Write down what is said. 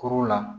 Kuru la